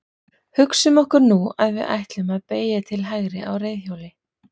Hugsum okkur nú að við ætlum að beygja til hægri á reiðhjóli.